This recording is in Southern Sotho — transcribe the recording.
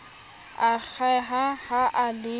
a akgeha ha a le